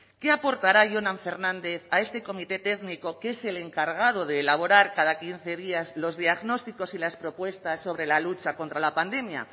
qué aportará jonan fernández a este comité técnico que es el encargado de elaborar cada quince días los diagnósticos y las propuestas sobre la lucha contra la pandemia